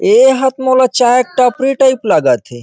एहा तो मोला चाय के टापरी टाइप लगत थे।